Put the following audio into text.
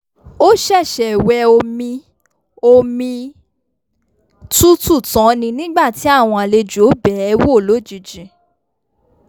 ó ṣẹ̀ṣẹ̀ wẹ omi omi tútù tán nígbà tí àwọn àlejò bẹ̀ẹ́ wò lójijì